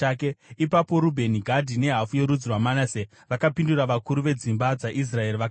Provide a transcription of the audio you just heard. Ipapo Rubheni, Gadhi nehafu yorudzi rwaManase vakapindura vakuru vedzimba dzaIsraeri vakati,